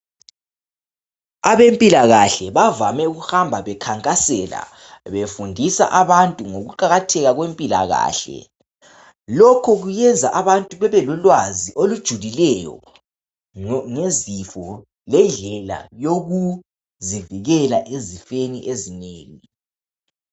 Abempilakahle bavame ukuhamba bekhankasela befundisa abantu ngokuqakatheka kwempilakahle lokho kuyenza abantu bebe lolwazi olujulileyo ngezifo lendlela yokuzivikela ezifeni ezinengi.